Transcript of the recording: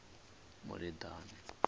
muleḓane